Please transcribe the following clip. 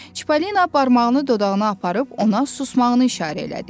Çipollina barmağını dodağına aparıb ona susmağını işarə elədi.